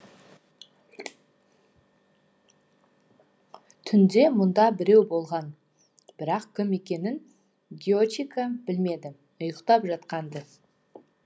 түнде мұнда біреу болған бірақ кім екенін гиочика білмеді ұйқтап жатқан ды